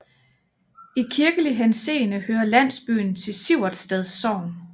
I kirkelig henseende hører landsbyen til Siversted Sogn